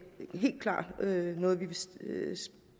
helt klart noget vi vil